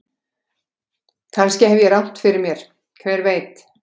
Kannski hef ég rangt fyrir mér, hver veit?